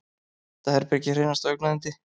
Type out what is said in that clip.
Þetta herbergi er hreinasta augnayndi.